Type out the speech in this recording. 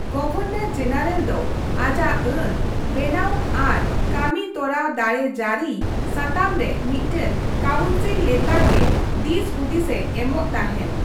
Governor general ᱫᱚ ᱟᱡᱟᱜ ᱟᱹᱱ ᱵᱮᱱᱟᱣ ᱟᱨ ᱠᱟᱹᱢᱤ ᱛᱚᱨᱟᱣ ᱫᱟᱲᱮ ᱡᱟᱹᱨᱤᱭ ᱥᱟᱛᱟᱢ ᱨᱮ ᱢᱤᱫᱴᱟᱝ ᱠᱟᱣᱩᱱᱥᱤᱞ ᱞᱮᱛᱟᱲ ᱜᱮ ᱫᱤᱥᱦᱩᱫᱤᱥᱼᱮ ᱮᱢᱚᱜ ᱛᱟᱦᱮᱱ ᱾